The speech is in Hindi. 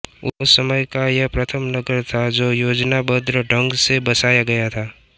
उस समय का यह प्रथम नगर था जो योजनाबद्ध ढ़ंग से बसाया गया था